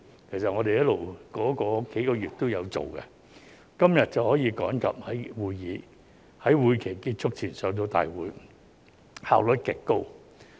其實，我們在這數個月期間一直工作，今天便可趕及在會期結束前提交大會，效率極高。